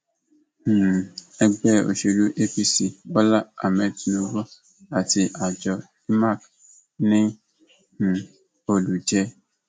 um ẹgbẹ òsèlú apc bọlá ahmed tinubu àti àjọ imac ní um olùjẹ